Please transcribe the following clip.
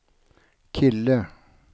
kille